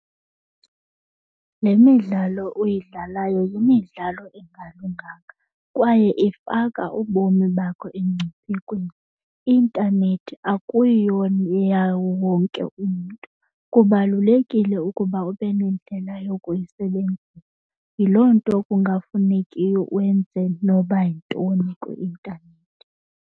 Le midlalo uyidlalayo yimidlalo engalunganga kwaye ifaka ubomi bakho emngciphekweni. Intanethi akuyiyo yawo wonke umntu. Kubalulekile ukuba ube nendlela yokuyisebenzisa. Yiloo nto kungafunekiyo wenze noba yintoni kwi-intanethi.